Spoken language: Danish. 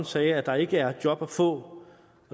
sagde at der ikke er job at få